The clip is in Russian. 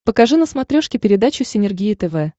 покажи на смотрешке передачу синергия тв